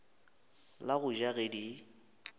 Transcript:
la go ja ge di